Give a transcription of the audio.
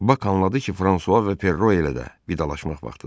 Bak anladı ki, Fransua və Perro elə də vidalaşmaq vaxtıdır.